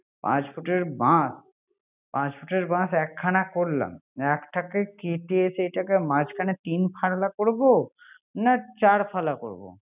পাচ ফুটের বাশ, পাচ ফুটের বাশ একখানা করলাম। একটাকে কেটে সেটাকে মাঝখানে তিন ফালা করব না চার ফালা করব